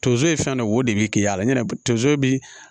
Tonso ye fɛn dɔ ye o de bɛ ke ya la yanni tonso bi